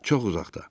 Çox uzaqda.